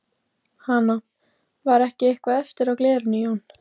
Hana. var ekki eitthvað eftir á glerinu Jón?